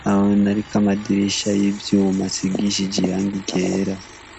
nahone hariko amadirisha y'ivyuma asigishije irangi ryera.